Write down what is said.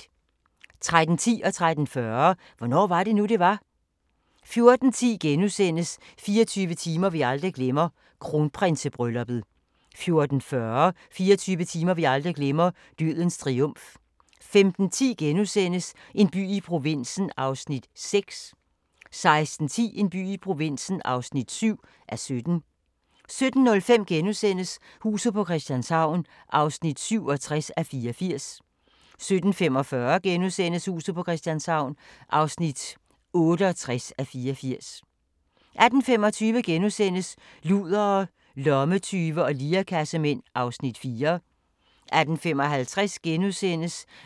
13:10: Hvornår var det nu, det var? * 13:40: Hvornår var det nu, det var? 14:10: 24 timer vi aldrig glemmer – Kronprinsebrylluppet * 14:40: 24 timer vi aldrig glemmer – Dødens triumf 15:10: En by i provinsen (6:17)* 16:10: En by i provinsen (7:17) 17:05: Huset på Christianshavn (67:84)* 17:45: Huset på Christianshavn (68:84)* 18:25: Ludere, lommetyve og lirekassemænd (4:6)* 18:55: